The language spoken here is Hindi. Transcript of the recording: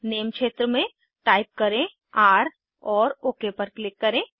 नेम क्षेत्र में टाइप करें र और ओक पर क्लिक करें